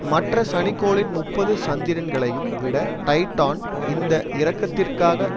மற்ற சனிக்கோளின் முப்பது சந்திரன்களையும் விட டைடான் இந்த இறக்கத்திற்காகத்